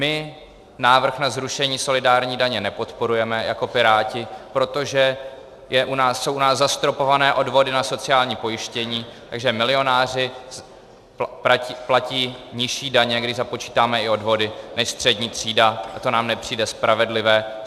My návrh na zrušení solidární daně nepodporujeme jako Piráti, protože jsou u nás zastropované odvody na sociální pojištění, takže milionáři platí nižší daně, když započítáme i odvody, než střední třída, a to nám nepřijde spravedlivé.